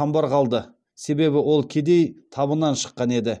қамбар қалды себебі ол кедей табынан шыққан еді